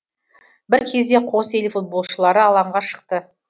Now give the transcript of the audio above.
бір кезде қос ел футболшылары алаңға шықты